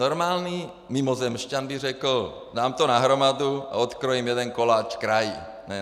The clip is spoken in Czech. Normální mimozemšťan by řekl, dám to na hromadu a odkrojím jeden koláč kraji.